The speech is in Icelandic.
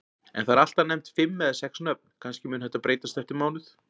En það eru alltaf nefnd fimm eða sex nöfn, kannski mun þetta breytast eftir mánuð.